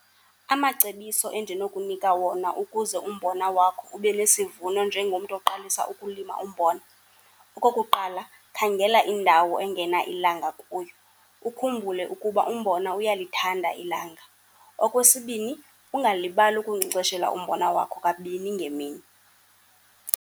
Amacebiso endinokunika wona ukuze umbona wakho ube nesivuno njengomntu oqalisa ukulima umbona, okokuqala khangela indawo engena ilanga kuyo. Ukhumbule ukuba umbona uyalithanda ilanga. Okwesibini, ungalibali ukunkcenkceshela umbona wakho kabini ngemini.